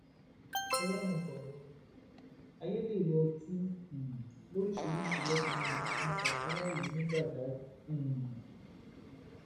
ọlọrun gbà wá o ayédèrú ọtí um lóríṣìíríṣìí lọkùnrin yìí ń pọn ta fáráàlú ní badág um